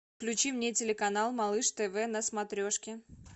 включи мне телеканал малыш тв на смотрешке